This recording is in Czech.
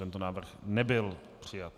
Tento návrh nebyl přijat.